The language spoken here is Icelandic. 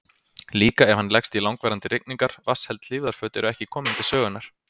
Líka ef hann leggst í langvarandi rigningar, vatnsheld hlífðarföt eru ekki komin til sögunnar.